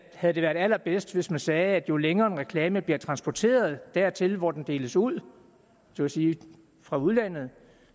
havde det været allerbedst hvis man sagde at jo længere en reklame bliver transporteret dertil hvor den deles ud så at sige fra udlandet